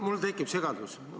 Mul tekib segadus.